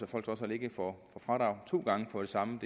folk trods alt ikke får fradrag for det samme